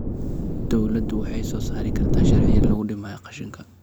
Dawladdu waxay soo saari kartaa sharciyo lagu dhimayo qashinka.